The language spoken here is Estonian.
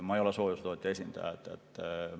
Ma ei ole soojusetootja esindaja.